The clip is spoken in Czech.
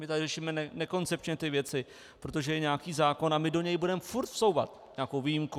My tady řešíme nekoncepčně ty věci, protože je nějaký zákon a my do něj budeme furt vsouvat nějakou výjimku.